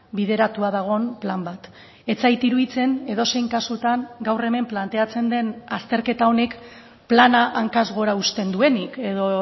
bideratua dagoen plan bat ez zait iruditzen edozein kasutan gaur hemen planteatzen den azterketa honek plana hankaz gora uzten duenik edo